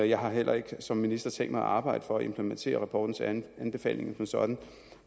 jeg har heller ikke som minister tænkt mig at arbejde for at implementere rapportens anbefalinger som sådan